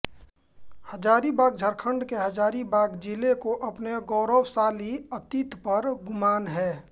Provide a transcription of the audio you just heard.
हजारीबाग झारखंड के हजारीबाग जिले को अपने गौरवशाली अतीत पर गुमान है